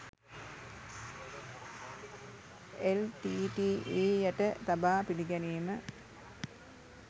LTTE. යට තබා පිළිගැනීම